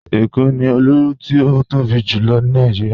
Ẹ̀kó ni ilù tí o tóbi jùlọ̀ ní Nàìjíríà.